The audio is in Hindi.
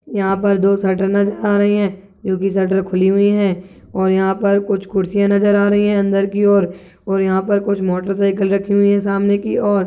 यहाँ पर दो शटर नज़र आ रही है जोकि शटर खुली हुई है और यहाँ पर कुछ कुर्सियाँ नज़र आ रही है अंदर की ओर और यहाँ पर कुछ मोटर साइकिल रखी हुई है सामने की ओर।